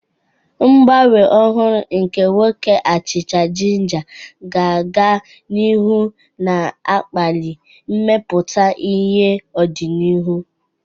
Ngbanwe ọhụrụ nke nwoke achicha jinja ga-aga n'ihu na-akpali mmepụta ihe n'ọdịnihu.